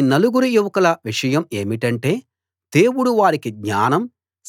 ఈ నలుగురు యువకుల విషయం ఏమిటంటే దేవుడు వారికి జ్ఞానం